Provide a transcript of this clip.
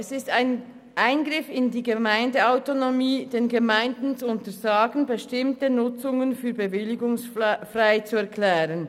Es ist ein Eingriff in die Gemeindeautonomie, den Gemeinden zu untersagen, bestimmte Nutzungen für bewilligungsfrei zu erklären.